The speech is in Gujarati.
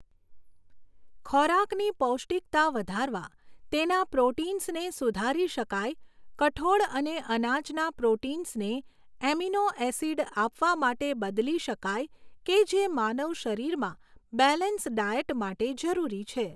ખોરાકની પૌષ્ટીકતા વધારવા તેના પ્રોટિન્સને સુધારી શકાય, કઠોળ અને અનાજના પ્રોટિન્સને એમીનો એસિડ આપવા માટે બદલી શકાય, કે જે માનવ શરીરમા બેલેન્સ ડાયટ માટે જરૂરી છે.